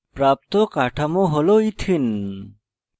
প্রাপ্ত কাঠামোটি হল ethene ethene